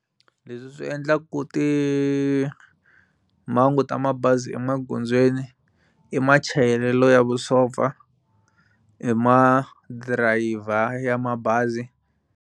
Lesw swi endlaka timhangu ta mabazi emaghondzweni i machayelelo ya vusopfa i ma driver ya mabazi.